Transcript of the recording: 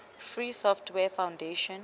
free software foundation